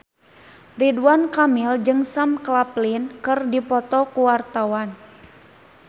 Ridwan Kamil jeung Sam Claflin keur dipoto ku wartawan